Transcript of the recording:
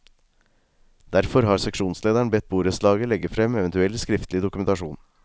Derfor har seksjonslederen bedt borettslaget legge frem eventuell skriftlig dokumentasjon.